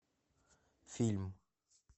фильм